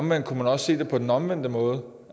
man kunne også se det på den omvendte måde